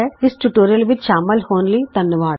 ਇਸ ਟਿਯੂਟੋਰਿਅਲ ਵਿਚ ਸ਼ਾਮਲ ਹੋਣ ਲਈ ਧੰਨਵਾਦ